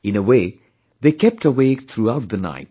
In a way, they kept awake throughout the night